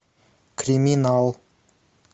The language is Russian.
криминал